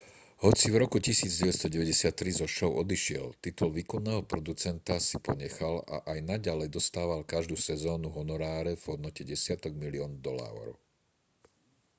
hoci v roku 1993 zo šou odišiel titul výkonného producenta si ponechal a aj naďalej dostával každú sezónu honoráre v hodnote desiatok miliónov dolárov